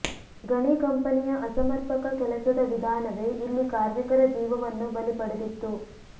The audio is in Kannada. ಗಣಿ ಕಂಪನಿಯ ಅಸಮರ್ಪಕ ಕೆಲಸದ ವಿಧಾನವೇ ಇಲ್ಲಿ ಕಾರ್ಮಿಕರ ಜೀವವನ್ನು ಬಲಿ ಪಡೆದಿತ್ತು